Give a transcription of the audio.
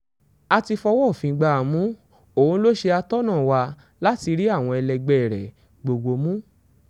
a ti fọwọ́ òfin gbá a mú òun lọ ṣe atọ́nà wa láti rí àwọn ẹlẹgbẹ́ rẹ̀ gbogbo mú